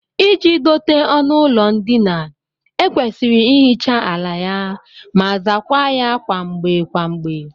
Iji dote ọnụụlọ ndina, e kwesịrị ihicha ala ya ma zaakwa ya kwa mgbe kwa mgbe